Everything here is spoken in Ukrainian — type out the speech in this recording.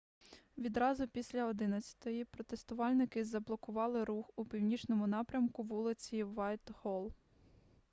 відразу після 11:00 протестувальники заблокували рух у північному напрямку вулиці вайтголл